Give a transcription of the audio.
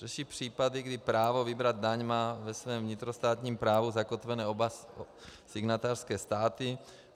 Řeší případy, kdy právo vybrat daň mají ve svém vnitrostátním právu zakotveny oba signatářské státy.